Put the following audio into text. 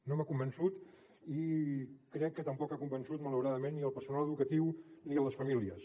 no m’ha convençut i crec que tampoc ha convençut malauradament ni el personal educatiu ni les famílies